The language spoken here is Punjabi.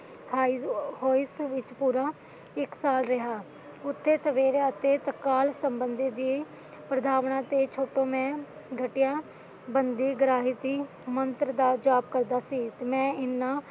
ਉਥੇ ਮੈਂ ਪੁਰਾ ਇੱਕ ਸਾਲ ਰਿਹਾ ਉਠੈ ਸਵੇਰੇ ਅਤੇ ਤਾਤੇ ਅਕਾਲ ਸੰਭੰਡਿ ਪ੍ਰਧਵਾਣਾ ਤੋਂ ਛੁੱਟ ਮੈਂ ਬੰਦੇ ਗ੍ਰਿਹਤਿ ਮੰਤ੍ਰ ਦਾ ਜਪ ਕਰਦਾ ਸੀ ਮੈ ਇਨਾ